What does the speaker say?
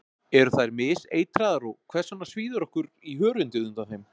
eru þær miseitraðar og hvers vegna svíður okkur í hörundið undan þeim